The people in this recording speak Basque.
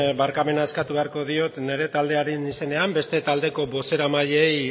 barkamena eskatu beharko diot nire taldearen izenean beste taldeko bozeramaileei